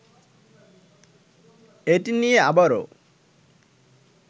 এটি নিয়ে আবারও